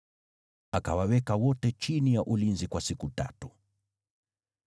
Akawaweka wote chini ya ulinzi kwa siku tatu.